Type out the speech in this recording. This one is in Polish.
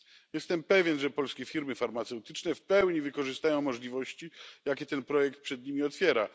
Jestem pewien, że polskie firmy farmaceutyczne w pełni wykorzystają możliwości, jakie ten projekt przed nimi otwiera.